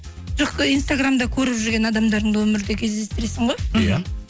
жоқ ы инстаграмда көріп жүрген адамдарыңды өмірде кездестіресің ғой иә